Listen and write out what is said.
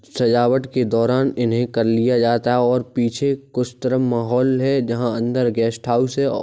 सजावट के दोरान इन्हे कर लिया जाता है और पीछे कुछ तरफ में हॉल है जहा अंदर गेस्ट हाउस है और --